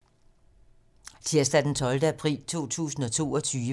Tirsdag d. 12. april 2022